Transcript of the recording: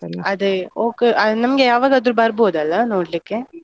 ಅದೇ okay , ನಮ್ಗೆ ಯವಾಗದ್ರೂ ಬರ್ಬೋದಲ್ಲ ನೋಡ್ಲಿಕ್ಕೆ?